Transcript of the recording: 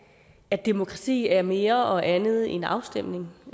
at demokrati er mere og andet end afstemning